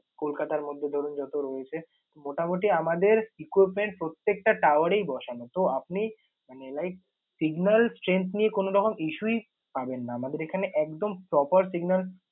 কলকাতার মধ্যে ধরুন যত রয়েছে মোটামুটি আমাদের equipment প্রত্যেকটা tower এই বসানো। তো আপনি মানে like signal strength নিয়ে কোনো রকম issue ই পাবেন না। আমাদের এখানে একদম proper signal